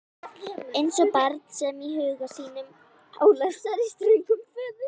Eins og barn sem í huga sínum álasar ströngum föður.